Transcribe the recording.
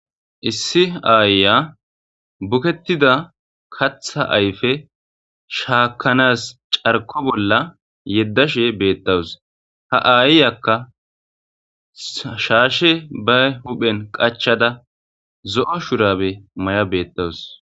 Issi aayya bukettida katha ayfe shaakanas carko bolla yeddashe beettawus ha aayyakka shaashe bay huphen qachada zo'o shurabe may'a beettawus.